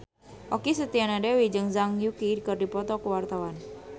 Okky Setiana Dewi jeung Zhang Yuqi keur dipoto ku wartawan